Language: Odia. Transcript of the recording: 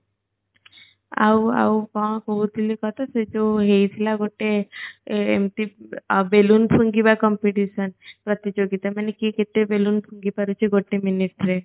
ଆଉ ଆଉ କଣ କହୁଥିଲି ତତେ ସେଇ ଜ ହେଇଥିଲା ଗଟେ ଏ ଏମତି balloon ଫୁଙ୍କିବା competition ପ୍ରତିଯୋଗିତା ମାନେ କିଏ କେତେ balloon ଫୁଙ୍କି ପାରୁଛି ଗଟେ minute ରେ